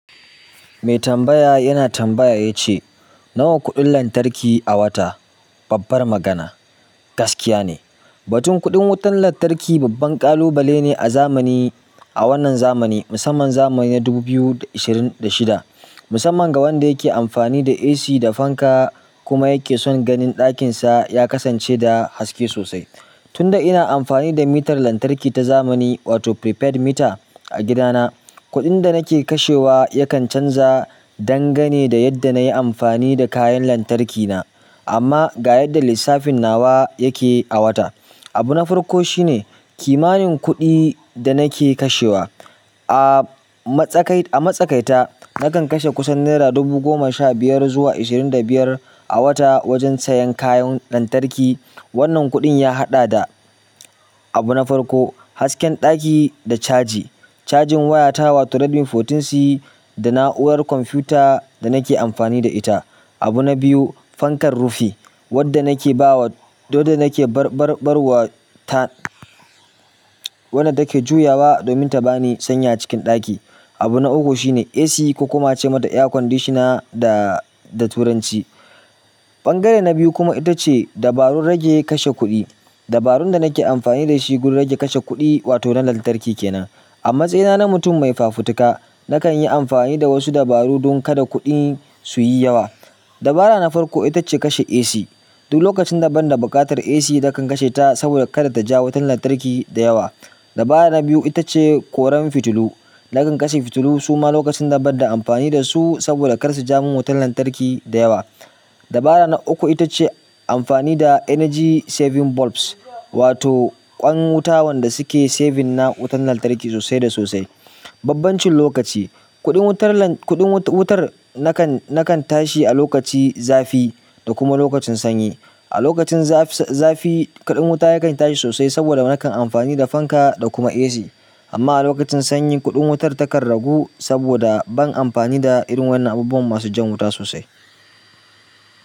Mai tambaya yana tambaya ya ce, "Nawa kuɗin lantarki a wata?" Babbar magana, gaskiya ne. Batun kuɗin wutar lantarki babban kalubale ne a zamani, a wannan zamani, musamman zamani na ishirin da shida. Musamman ga wanda yake amfani da AC da fanka kuma yake son ganin ɗakinsa ya kasance da haske sosai. Tunda ina amfani da mitar lantarki ta zamani wato prepaid meter a gidana, kuɗin da nake kashewa yakan canza dangane da yadda na yi amfani da kayan lantarki na. Amma ga yadda lissafin nawa yake a wata. Abu na farko shine kimanin kuɗi da nake kashewa. A matsakai-a matsakaita nakan kashe kusan naira dubu goma sha biyar zuwa ashirin da biyar a wata wajen sayan kayan lantarki. Wannan kuɗin ya haɗa da abu na farko, hasken ɗaki da caji. Cajin wayata wato Redmi sha huɗu C da na'urar computer da nake amfani da ita. Abu na biyu fankar rufi wanda nake bawa wada nake bar barwa wanda take juyawa domin taban sanyi a cikin ɗaki. Abu na uku shine AC ko kuma a ce mata air conditioner da, da turanci. Ɓangare na biyu kuma ita ce dabarun rage kashe kuɗi. Dabarun da nake amfani da shi gurin rage kashe kuɗi wato na lantarki ke nan. A matsayina na mutum mai fafutuka, nakan yi amfani da wasu dabaru don kada kuɗi su yi yawa. Dabara na farko ita ce kashe AC duk lokacin da banda buƙatar AC nakan kashe ta saboda kada ta ja wutar lantarki da yawa. Dabara na biyu ita ce koren fitilu. Nakan kashe fitilu suma lokacin da banda amfani da su saboda kar su ja min wutar lantarki da yawa. Dabara na uku ita ce amfani da energy saving bulbs wato ƙwan wuta wanda suke saving na wutar lantarki sosai da sosai. Babban cin lokaci, kuɗin wutar lan-kuɗin wutar nakan, nakan tashi a lokaci zafi da kuma lokacin sanyi. A lokacin zafi, zafi kuɗin wuta yakan tashi sosai saboda nakan amfani da fanka da kuma AC. Amma a lokacin sanyi kuɗin wutar takan ragu saboda ban amfani da irin wannan abubuwan masu jan wuta sosai.